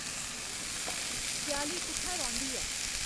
सयाली कु'त्थै रौंह्दी ऐ